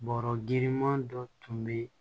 Bɔrɔ girinman dɔ tun be